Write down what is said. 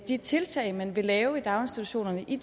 de tiltag man vil lave i daginstitutionerne i